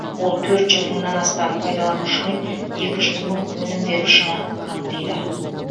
ол төрт жүз мыңнан астам пайдаланушы мен екі жүз мың өнім берушіні қамтиды